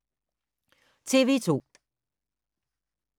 TV 2